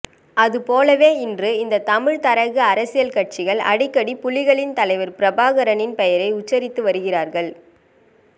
அது போலவே இன்று இந்த தமிழ்த் தரகு அரசியல் கட்சிகள் அடிக்கடி புலிகளின் தலைவர் பிரபாகரனின் பெயரை உச்சரித்து வருகிறார்கள்